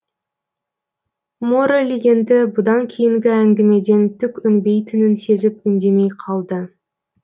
моррель енді бұдан кейінгі әңгімеден түк өнбейтінін сезіп үндемей қалды